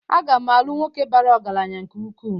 Aga m alu nwoke bara ọgaranya nke-uku